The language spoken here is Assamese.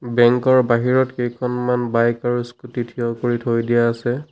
বেংক ৰ বাহিৰত কেইখনমান বাইক আৰু স্কুটি থিয় কৰি থৈ দিয়া আছে।